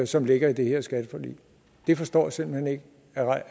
som ligger i det her skatteforlig jeg forstår simpelt hen ikke